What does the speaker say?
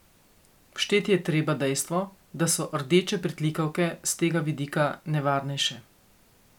Všteti je treba dejstvo, da so rdeče pritlikavke s tega vidika nevarnejše.